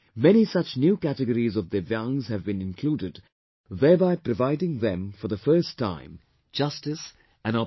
Many such new categories of Divyaangs have been included thereby providing them for the first time justice and opportunities